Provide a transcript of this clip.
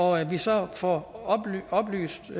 og at vi så får oplyst